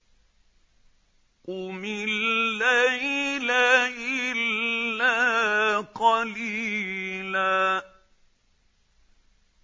قُمِ اللَّيْلَ إِلَّا قَلِيلًا